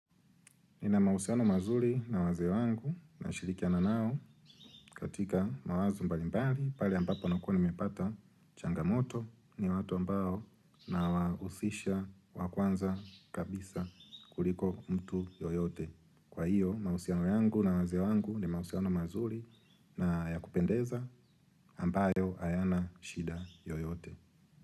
Nina mausiano mazuri na wazee wangu na shirikiana nao katika mawazo mbalimbali pale ambapo nakua nmepata changamoto ni watu ambao nawausisha wakwanza kabisa kuliko mtu yoyote. Kwa hiyo mausiano yangu na wazee wangu ni mausiano mazuri na ya kupendeza ambayo hayana shida yoyote.